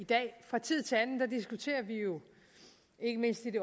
i dag fra tid til anden diskuterer vi jo ikke mindst i det